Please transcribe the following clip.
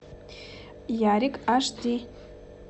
ярик аш ди